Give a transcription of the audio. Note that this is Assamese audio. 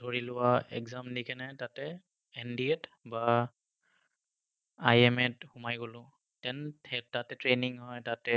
ধৰি লোৱা exam দি কেনাই তাতে NDA ত বা IMA ত সোমায় গলো। Then তাতে training হয়, তাতে